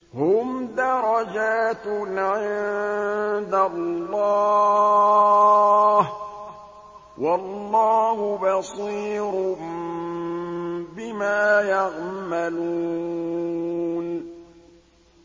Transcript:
هُمْ دَرَجَاتٌ عِندَ اللَّهِ ۗ وَاللَّهُ بَصِيرٌ بِمَا يَعْمَلُونَ